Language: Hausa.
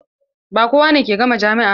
Ba kowane ke gama jami'a ba.